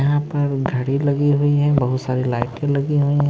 यहां पर घड़ी लगी हुई है बहुत सारी लाइट लगी हुई है।